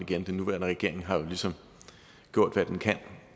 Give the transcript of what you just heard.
igen den nuværende regering har jo ligesom gjort hvad den kan